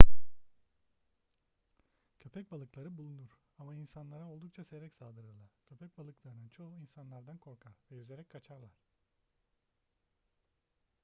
köpekbalıkları bulunur ama insanlara oldukça seyrek saldırırlar köpekbalıklarının çoğu insanlardan korkar ve yüzerek kaçarlar